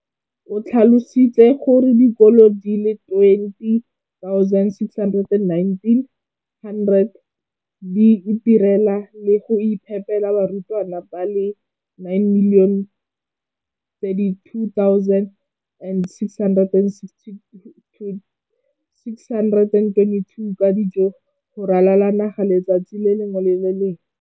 o tlhalositse gore dikolo di le 20 619 di itirela le go iphepela barutwana ba le 9 032 622 ka dijo go ralala naga letsatsi le lengwe le le lengwe.